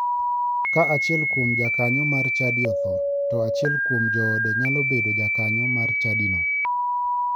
Ka achiel kuom jakanyo mar chadi otho, to achiel kuom joode nyalo bedo jakanyo mar chadino.